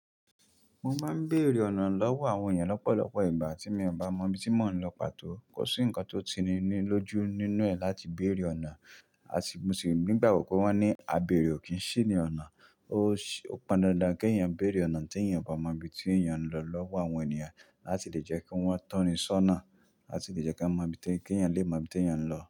Mo máa ń bèrè ọ̀nà lọ́wọ́ àwọn ènìyàn lọ́pọ̀lọpọ̀ ìgbà tí mi ò bá mọ ibi tí mò ń lọ pàtó. Kò sí ǹkan tó tini ní lójú nínú ẹ̀ láti bèrè ọ̀nà, mo sì nígbà gbo wọ́n ní "àbèrè ò kí ń ṣì rín ọ̀nà". Ó pọn dandan kí eyàn béèrè ọ̀nà tí eyàn ò ba mọ ibi tí eyàn ń lọ lọ́wọ́ àwọn ènìyàn láti lè jẹ́ kí wọ́n tọ́ni ṣọ́nà, láti lè jẹ́ kí wọ́n mọ ibi tí, kí eyàn lè mọ ibi tí eyàn ń lọ.